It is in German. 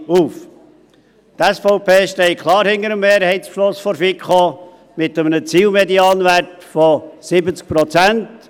Die SVP steht klar hinter dem Mehrheitsbeschluss der FiKo mit einem Zielmedianwert von 70 Prozent.